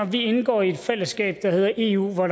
vi indgår i et fællesskab der hedder eu hvor